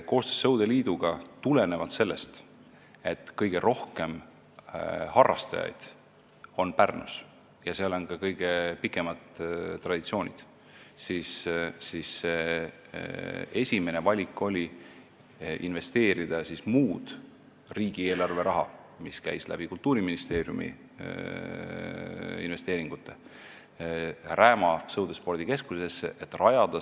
Koostöös sõudeliiduga tegime tulenevalt sellest, et kõige rohkem harrastajaid on Pärnus, kus on ka kõige pikemad traditsioonid, sellise otsuse, et meie esimene valik on investeerida Kultuuriministeeriumi investeeringute kaudu riigieelarve raha Rääma sõudespordikeskusesse.